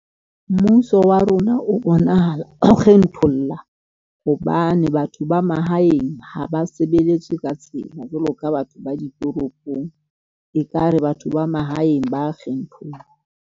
Mmuso wa rona o bonahala o kgetholla, hobane batho ba mahaeng ha ba sebeletse ka tsela, jwalo ka batho ba ditoropong, ekare batho ba mahaeng ba .